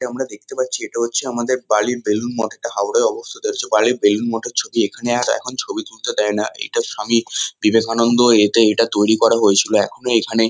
এটা আমরা দেখতে পাচ্ছি এটা হচ্ছে আমাদের বালির বেলুড় মঠ। এটা হাওড়ায় অবস্থিত আছে। বালির বেলুড় মঠের ছবি। এখানে আর এখন ছবি তুলতে দেয় না। এটা স্বামী বিবেকানন্দ এতে এটা তৈরী করা হয়েছিল। এখনো এখানে।